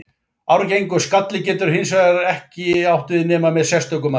Arfgengur skalli getur það hins vegar ekki nema með sérstökum aðgerðum.